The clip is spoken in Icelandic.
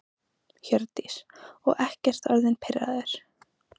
Hjördís: Og ekkert orðinn pirraður?